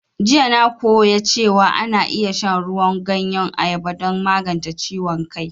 Jiya na koya cewan ana iya shan ruwan ganyen ayaba don magance ciwon kai